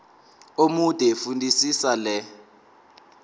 omude fundisisa le